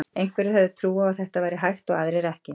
Einhverjir höfðu trú á að þetta væri hægt og aðrir ekki.